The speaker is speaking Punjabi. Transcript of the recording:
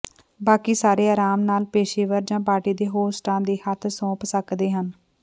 ਬਾਕੀ ਸਾਰੇ ਆਰਾਮ ਨਾਲ ਪੇਸ਼ੇਵਰ ਜਾਂ ਪਾਰਟੀ ਦੇ ਹੋਸਟਾਂ ਦੇ ਹੱਥ ਸੌਂਪ ਸਕਦੇ ਹਨ